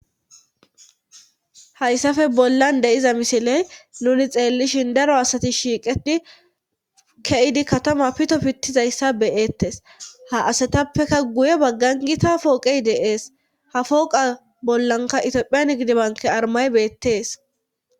Hayssafe bollan deyiza misiley nuni xeellishin daro asati shiiqeti ke7idi katama pito pittizayssa beyettes ha asatappeka guye baggangita pooqey deees ha fooqa bollanka itiophiyan gidibanke armay beettees.